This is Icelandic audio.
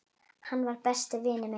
Hann var. besti vinur minn.